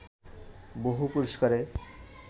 বহু পুরস্কারে